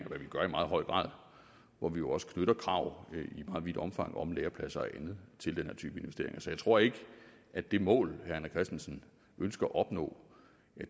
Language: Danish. hvad vi gør i meget høj grad hvor vi jo også knytter krav i meget vidt omfang om lærepladser og andet til den her type investeringer så jeg tror ikke at det mål herre rené christensen ønsker at opnå